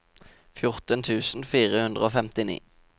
fjorten tusen fire hundre og femtini